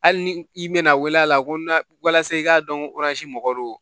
Hali ni i mɛna wele a la ko n na walasa i k'a dɔn mɔgɔ don